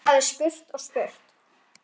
Þú hefðir spurt og spurt.